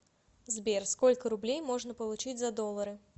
сбер сколько рублей можно получить за доллары